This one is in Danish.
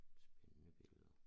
Spændende billeder